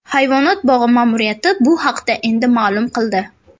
Hayvonot bog‘i ma’muriyati bu haqda endi ma’lum qildi.